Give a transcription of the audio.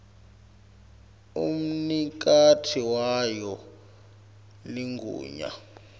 umnikati wayo ligunya